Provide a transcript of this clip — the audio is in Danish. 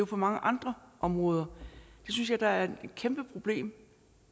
på mange andre områder det synes jeg da er et kæmpeproblem